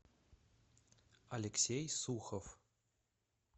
алексей сухов